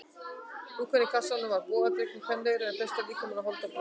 Dúkkan í kassanum var bogadregnari og kvenlegri en flestir líkamar af holdi og blóði.